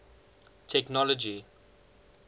technology